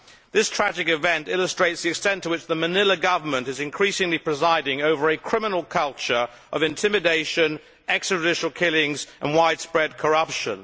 This tragic event illustrates the extent to which the Manila Government is increasingly presiding over a criminal culture of intimidation, extra judicial killings and widespread corruption.